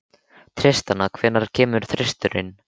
Tristana, hvenær kemur þristurinn?